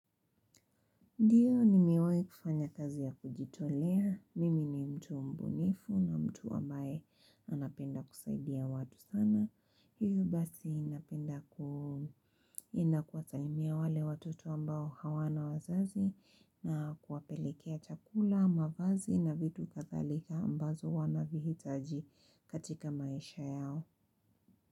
Ndiyo, nimiwei kufanya kazi ya kujitolea. Mimi ni mtu mbunifu na mtu ambaye anapenda kusaidia watu sana. Hiyo basi napenda kuenda kuwa salimia wale watoto ambao hawana wazazi na kuwapelekea chakula, mavazi na vitu kathalika ambazo wanavihitaji katika maisha yao.